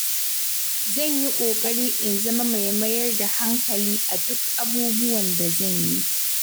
Zan yi ƙoƙari in zama mai mayar da hankali a duk abubuwan da zan yi.